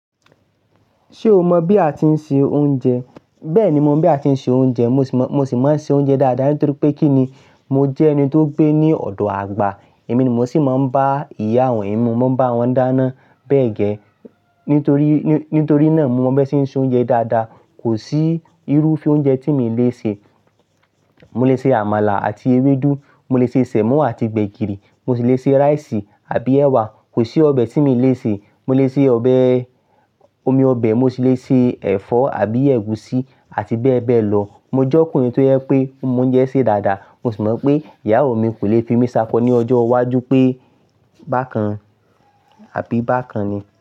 Ṣé o mọ̀ bí a ti ń se oúnjẹ? Bẹ́ẹ̀ni, mo mọ̀ bí a ti ń se oúnjẹ. Mo sì máa ń ṣe oúnjẹ dáadáa nítorí pé kí ni, mo jẹ́ ẹni tó gbé ní ọ̀dọ̀ àgbà. Èmi ni mo sì máa ń bá ìyá àwọn ẹ̀mí, mo máa ń bá wọn dáná bẹ́ẹ̀ gẹ́ẹ́. Nítorí, nítorí náà mo mọ bí wọ́n ṣe ń se oúnjẹ dáadáa. Kò sí irúfẹ́ oúnjẹ tí mi leè se. Mo lè se àmàlà àti ewédú, mo lè se sẹ̀mó àti gbẹ̀gìrì, mo sì lè se rice àbí ẹwà. Kò sí ọbẹ̀ tí mi ò leè se. Mo lè se ọbẹ omi ọbẹ̀, mo sì le se ẹ̀fọ́ àbí ẹ̀gúsí àti bẹ́ẹ̀ bẹ́ẹ̀ lọ. Mo jẹ́ ọkùnrin tó yẹ pé ó mọ oúnjẹ ṣe dáadáa. Mo sì mọ̀ pé ìyàwó mi kò lè fi mi sako ní ọjọ́ iwájú pé bákan àbí bákan ni.